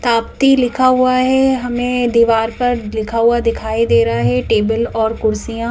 तापती लिखा हुआ है हमें दीवार पर लिखा हुआ दिखाई दे रहा है टेबल और कुर्सियां --